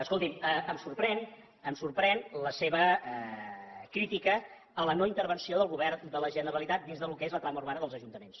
escolti’m em sorprèn la seva crítica a la no intervenció del govern de la generalitat dins del que és la trama urbana dels ajuntaments